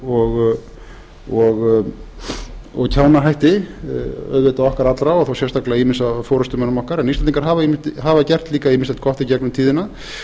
glópsku og kjánahætti auðvitað okkar allra og þó sérstaklega ýmissa af forustumönnum okkar en íslendingar hafa gert líka ýmislegt gott í gegnum tíðina